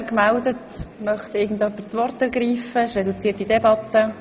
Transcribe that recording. Wir führen eine reduzierte Debatte.